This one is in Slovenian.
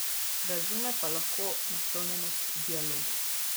Razume pa lahko naklonjenost dialogu.